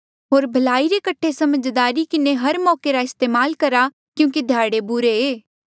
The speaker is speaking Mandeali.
होर भलाई रे कठे समझदारी किन्हें हर मौके रा इस्तेमाल करहा क्यूंकि ध्याड़े बुरे ऐें